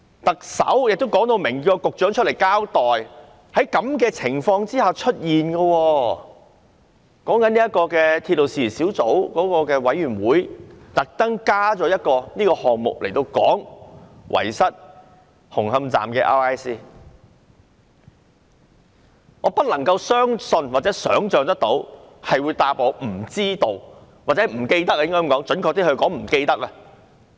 特首已要求局長出來交代事件，而鐵路事宜小組委員會也特別增加一個議程項目，商討紅磡站 RISC forms 遺失一事。我不能相信或想象署長竟然回答"不知道"——準確來說是"不記得"。